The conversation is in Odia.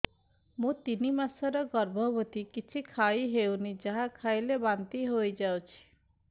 ମୁଁ ତିନି ମାସର ଗର୍ଭବତୀ କିଛି ଖାଇ ହେଉନି ଯାହା ଖାଇଲେ ବାନ୍ତି ହୋଇଯାଉଛି